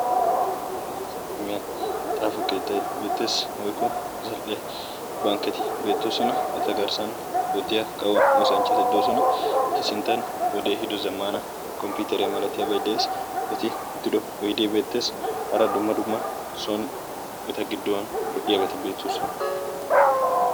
Dere asa xaafo keettay beettees woykko zal'e bankketi keettay beettees. eta garssan oottiya kawo oosanchchati beettoosona. Eta sinttan wode ehiido komppiteriya malatiyaabay dees. Eti uttido oydde beettees. Hara dumma dumma eta giddon soon lo''iyaabaati beettoosona.